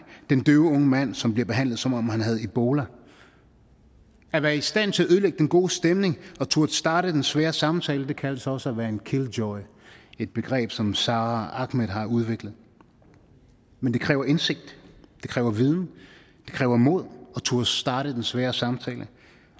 den døve unge mand som bliver behandlet som om han havde ebola at være i stand til at ødelægge den gode stemning og turde starte den svære samtale kaldes også at være en killjoy et begreb som sara ahmed har udviklet men det kræver indsigt det kræver viden det kræver mod at turde starte den svære samtale